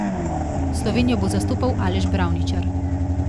Slovenijo bo zastopal Aleš Bravničar.